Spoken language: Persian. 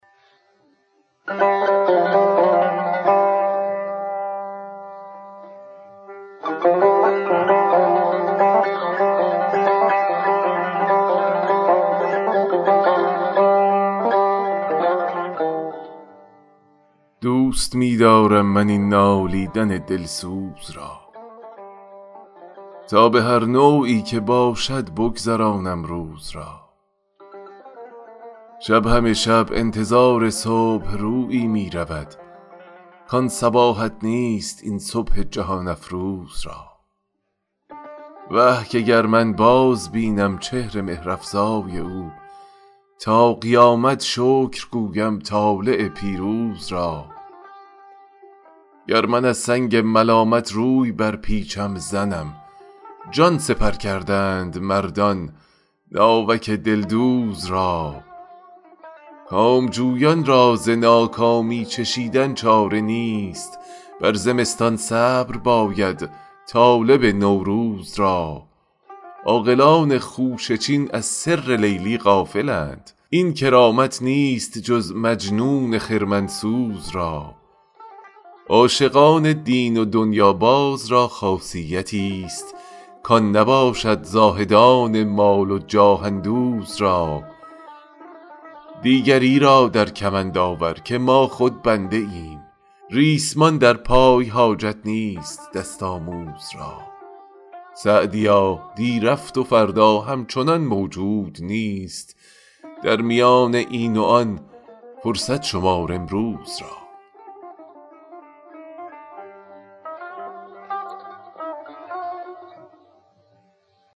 دوست می دارم من این نالیدن دلسوز را تا به هر نوعی که باشد بگذرانم روز را شب همه شب انتظار صبح رویی می رود کان صباحت نیست این صبح جهان افروز را وه که گر من بازبینم چهر مهرافزای او تا قیامت شکر گویم طالع پیروز را گر من از سنگ ملامت روی برپیچم زنم جان سپر کردند مردان ناوک دلدوز را کامجویان را ز ناکامی چشیدن چاره نیست بر زمستان صبر باید طالب نوروز را عاقلان خوشه چین از سر لیلی غافلند این کرامت نیست جز مجنون خرمن سوز را عاشقان دین و دنیاباز را خاصیتیست کان نباشد زاهدان مال و جاه اندوز را دیگری را در کمند آور که ما خود بنده ایم ریسمان در پای حاجت نیست دست آموز را سعدیا دی رفت و فردا همچنان موجود نیست در میان این و آن فرصت شمار امروز را